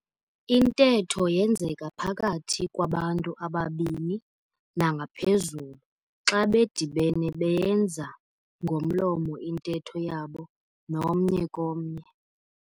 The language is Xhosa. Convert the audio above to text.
Intetho yenzeka phakathi kwabantu ababini nangaphezulu xa bedibene beyenza ngomlomo intetho yabo nomnye komnye.